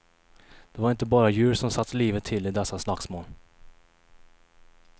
Det var inte bara djur som satte livet till i dessa slagsmål.